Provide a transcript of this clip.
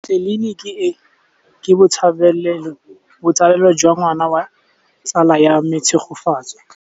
Tleliniki e, ke botsalêlô jwa ngwana wa tsala ya me Tshegofatso.